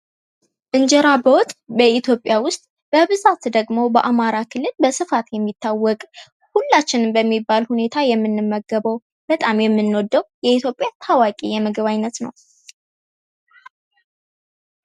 እንጀራ በወጥ በሀገራችን ኢትዮጵያ በብዛት ደግሞ በአማራ ክልል የሚታዎቅ አብዛኞቻችን ደግሞ የምንመገበው፣ በጣም የምንወደው ፣ የኢትዮጵያ ታዋቂ የምግብ አይነት ነው።